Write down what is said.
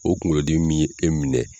O kungolo dimi min ye e minɛ.